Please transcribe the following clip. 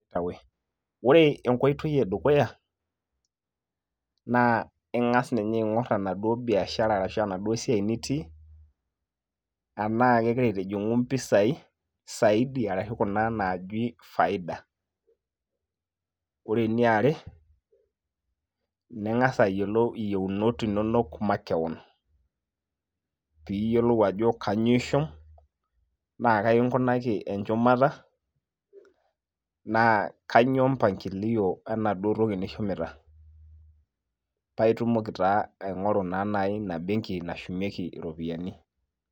Ore enkoitoi edukuya, naa ing'as ninye aing'or enaduo biashara arashu enaduo siai nitii, enaa kegira aitijing'u mpisai, saidi arashu kuna naaji faida. Ore eniare, ning'asa ayiolou iyieunot inonok makeon. Piyiolou ajo kanyioo ishum, na kai inkunaki enchumata, na kainyoo mpangilio enaduo toki nishumita. Paitumoki taa aing'oru ta nai ina benki nashumieki iropiyiani.